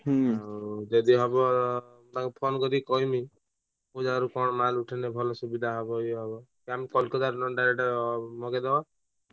ଯଦି ହବ ତାଙ୍କୁ ଫୋନ କରି କହିମି ପୂଜା ଘରୁ କଣ ମାଲ ଉଠେଇନେ ଭଲ ସୁବିଧା ହବ ଇଏ ହବ ଆମେ Kolkata ରୁ direct ନହନେ ମଙ୍ଗେଇ ଦେବା ।